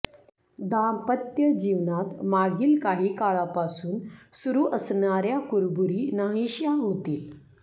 दांपत्यजीवनात मागील काही काळापासून सुरू असणाऱ्या कुरबुरी नाहीश्या होतील